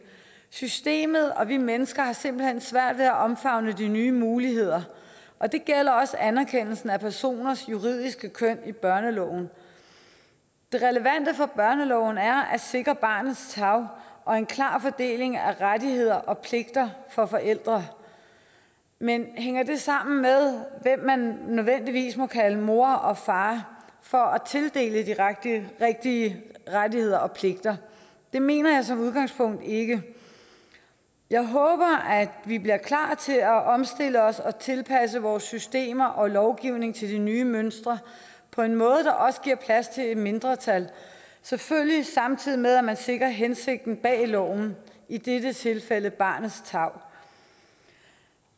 systemet og vi mennesker har simpelt hen svært ved at omfavne de nye muligheder og det gælder også anerkendelsen af personers juridiske køn i børneloven det relevante for børneloven er at sikre barnets tarv og en klar fordeling af rettigheder og pligter for forældre men hænger det sammen med hvem man nødvendigvis må kalde mor og far for at tildele de rigtige rettigheder og pligter det mener jeg som udgangspunkt ikke jeg håber at vi bliver klar til at omstille os og tilpasse vores systemer og lovgivning til de nye mønstre på en måde der også giver plads til et mindretal selvfølgelig samtidig med at man sikrer hensigten bag loven i dette tilfælde barnets tarv